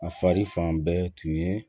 A fari fan bɛɛ tun ye